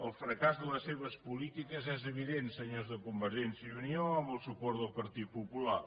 el fracàs de les seves polítiques és evident senyors de convergència i unió amb el suport del partit popular